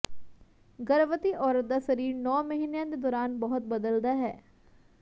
ਗਰਭਵਤੀ ਔਰਤ ਦਾ ਸਰੀਰ ਨੌਂ ਮਹੀਨਿਆਂ ਦੇ ਦੌਰਾਨ ਬਹੁਤ ਬਦਲਦਾ ਹੈ